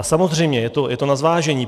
A samozřejmě je to na zvážení.